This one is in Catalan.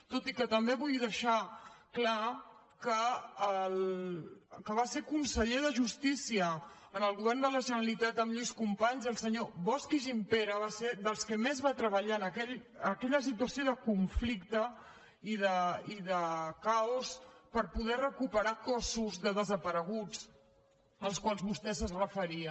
tot i que també vull deixar clar que el que va ser conseller de justícia en el govern de la generalitat amb lluís companys el senyor bosch i gimpera va ser dels que més va treballar en aquella situació de conflicte i de caos per poder recuperar cossos de desapareguts als quals vostè es referia